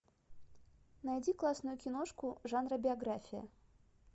найди классную киношку жанра биография